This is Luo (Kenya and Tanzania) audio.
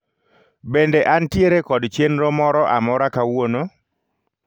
Bende antiere kod chenro moro amora kawuono?